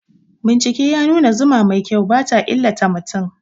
Bincike ya nuna zuma mai kyau ba ta illata mutum.